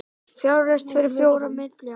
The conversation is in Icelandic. Fjárfest fyrir fjóra milljarða